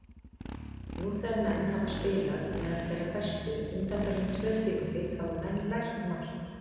Nú þegar menn hafa spilað meðal þeirra bestu undanfarin tvö tímabil hafa menn lært margt.